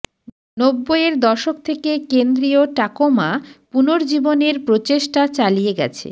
নব্বইয়ের দশক থেকে কেন্দ্রীয় টাকোমা পুনর্জীবনের প্রচেষ্টা চালিয়ে গেছে